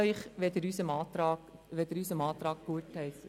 Ich danke Ihnen, wenn Sie unseren Antrag gutheissen.